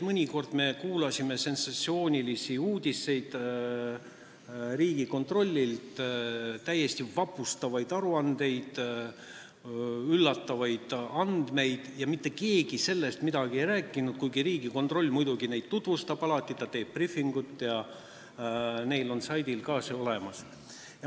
Mõnikord me kuulsime sensatsioonilisi uudiseid Riigikontrollilt, täiesti vapustavaid aruandeid, üllatavaid andmeid, aga mitte keegi nendest midagi ei rääkinud, kuigi Riigikontroll muidugi neid alati tutvustab, ta teeb briifinguid ja need on nende saidil ka olemas.